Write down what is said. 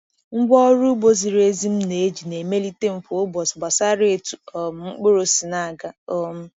Ngwa ọrụ ugbo ziri ezi m na-eji na-emelite m kwa ụbọchị gbasara etu um mkpụrụ si na-aga. um